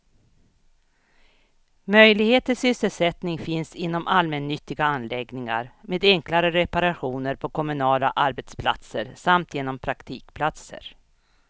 Möjlighet till sysselsättning finns inom allmännyttiga anläggningar, med enklare reparationer på kommunala arbetsplatser samt genom praktikplatser.